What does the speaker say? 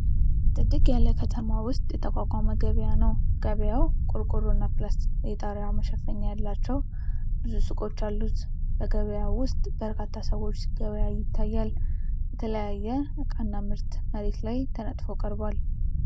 ጥድግ ያለ ከተማ ውስጥ የተቋቋመ ገበያ ነው። ገበያው ቆርቆሮና ፕላስቲክ የጣሪያ መሸፈኛ ያላቸው ብዙ ሱቆች አሉት። በገበያው ውስጥ በርካታ ሰዎች ሲገበያዩ ይታያሉ። የተለያየ እቃ እና ምርት መሬት ላይ ተነጥፎ ቀርቧል።